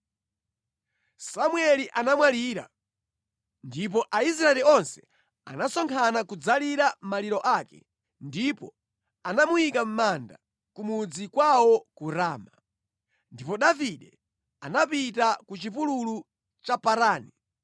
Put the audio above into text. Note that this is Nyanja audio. Samueli anamwalira, ndipo Aisraeli onse anasonkhana kudzalira maliro ake ndipo anamuyika mʼmanda ku mudzi kwawo ku Rama. Ndipo Davide anapita ku chipululu cha Parani.